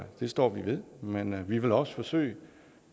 det står vi ved men vi vil også forsøge